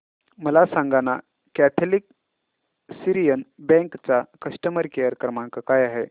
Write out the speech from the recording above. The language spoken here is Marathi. मला सांगाना कॅथलिक सीरियन बँक चा कस्टमर केअर क्रमांक काय आहे